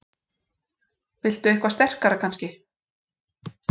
Viltu eitthvað sterkara kannski?